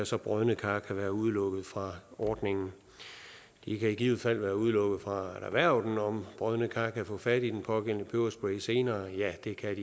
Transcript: så brodne kar kan udelukkes fra ordningen de kan i givet fald udelukkes fra at erhverve den om brodne kar kan få fat i den pågældende peberspray senere ja det kan